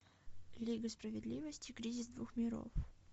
лига справедливости кризис двух миров